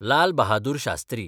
Lal Bahadur Shastri